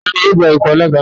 Tani yóò gba ipò alága náà?